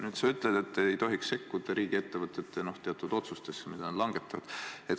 Nüüd sa ütled, et ei tohiks sekkuda riigiettevõtete teatud otsustesse, mida nad langetavad.